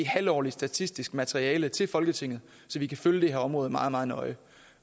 halvårligt statistisk materiale til folketinget så vi kan følge det her område meget meget nøje